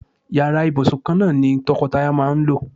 Yàrá ìbùsùn kan náà ni to̩ko̩taya máa ń lò.